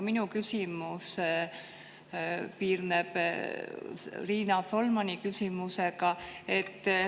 Minu küsimus piirneb Riina Solmani küsimusega.